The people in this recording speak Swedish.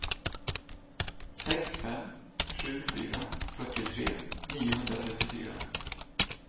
sex fem sju fyra fyrtiotre niohundratrettiofyra